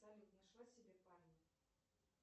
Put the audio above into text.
салют нашла себе парня